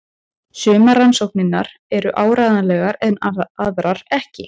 Sumar rannsóknirnar eru áreiðanlegar en aðrar ekki.